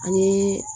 Ani